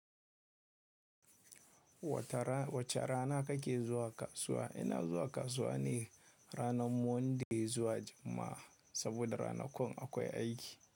Wata rana, wace rana ka ke zuwa kasuwa. Ina zuwa kasuwa ne rana monday izuwa juma'a saboda rana kun akwai aiki.